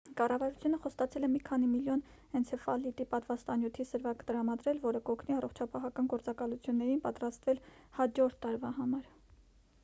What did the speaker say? կառավարությունը խոստացել է մի քանի միլիոն էնցեֆալիտի պատվաստանյութի սրվակ տրամադրել որը կօգնի առողջապահական գործակալություններին պատրաստվել հաջորդ տարվա համար